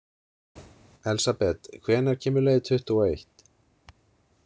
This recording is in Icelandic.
Elsabet, hvenær kemur leið tuttugu og eitt?